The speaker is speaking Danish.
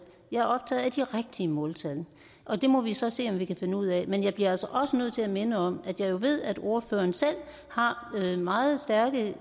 jeg er optaget af de rigtige måltal og det må vi så se om vi kan finde ud af men jeg bliver også nødt til at minde om at jeg jo ved at ordføreren selv har meget stærke